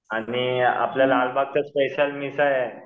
आणि आपला लालबागचा स्पेशल मिसळ आहे.